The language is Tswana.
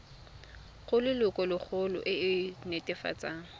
go lelokolegolo e e netefatsang